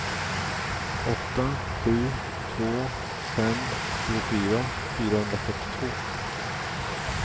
åtta sju två fem tjugofyra fyrahundrafyrtiotvå